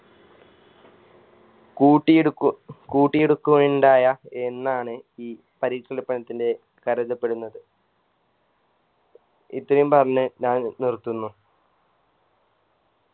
കൂട്ടിയെടുക്കു കൂട്ടിയെടുക്കുകയുണ്ടായ എന്നാണ് ഈ പരീക്ഷണപ്പണത്തിൻറെ കരുതപ്പെടുന്നത് ഇത്രയും പറഞ്ഞ് ഞാൻ നിർത്തുന്നു